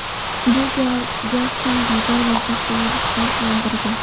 Bu gal Jastin Biber va boshqa yulduzlar bilan birga.